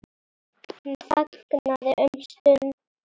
Hann þagnaði um stund.